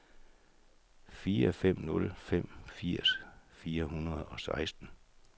fire fem nul fem firs fire hundrede og seksten